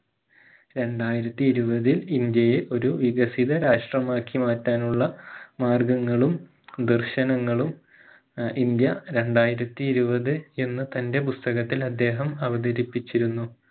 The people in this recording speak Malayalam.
രണ്ടായിരത്തി ഇരുപതിൽ ഇന്ത്യയെ ഒരു വികസിത രാഷ്ട്രമാക്കി മാറ്റാനുള്ള മാർഗങ്ങളും ദർശനങ്ങളും ആഹ് ഇന്ത്യ രണ്ടായിരത്തി ഇരുപത് എന്ന് തന്റെ പുസ്തകത്തിൽ അദ്ദേഹം അവതരിപ്പിച്ചിരുന്നു